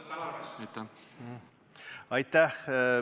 Aitäh!